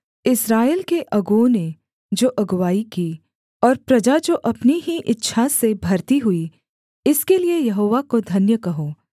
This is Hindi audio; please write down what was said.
इस्राएल के अगुओं ने जो अगुआई की और प्रजा जो अपनी ही इच्छा से भरती हुई इसके लिये यहोवा को धन्य कहो